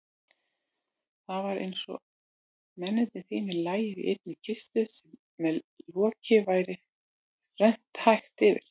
Það var einsog mennirnir þrír lægju í einni kistu sem loki væri rennt hægt yfir.